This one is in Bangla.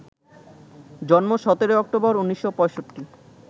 জন্ম ১৭ অক্টোবর, ১৯৬৫